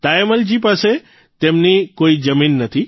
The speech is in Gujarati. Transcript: તાયમ્મલજીની પાસે પોતાની કોઇ જમીન નથી